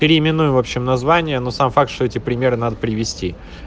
переименуй в общем название но сам факт что эти примеры надо привести